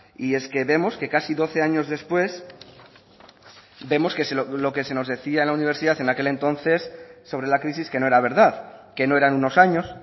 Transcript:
y es que vemos que casi doce años después vemos que lo que se nos decía en la universidad en aquel entonces sobre la crisis que no era verdad que no eran unos años